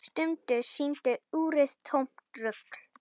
Stundum sýndi úrið tómt rugl.